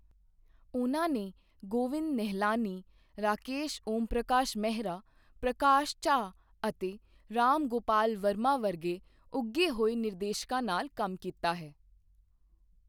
ਉਨ੍ਹਾਂ ਨੇ ਗੋਵਿੰਦ ਨਿਹਲਾਨੀ, ਰਾਕੇਸ਼ ਓਮਪ੍ਰਕਾਸ਼ ਮਹਿਰਾ, ਪ੍ਰਕਾਸ਼ ਝਾਅ ਅਤੇ ਰਾਮ ਗੋਪਾਲ ਵਰਮਾ ਵਰਗੇ ਉੱਘੇ ਹੋਏ ਨਿਰਦੇਸ਼ਕਾਂ ਨਾਲ ਕੰਮ ਕੀਤਾ ਹੈ।